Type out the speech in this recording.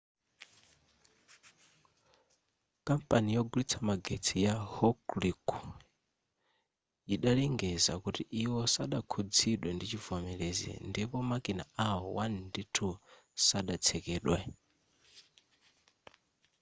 kampani yogulitsa magetsi ya hokuriku yidalengeza kuti iwo sadakhuzidwe ndi chivomelezi ndipo makina awo 1 ndi 2 sadatsekedwe